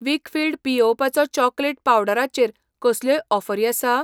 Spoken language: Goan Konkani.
वीकफील्ड पियेवपाचो चॉकलेट पावडरा चेर कसल्योय ऑफरी आसा ?